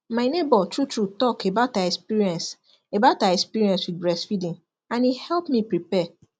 my neighbor true true talk about her experience about her experience with breast feeding and e help me prepare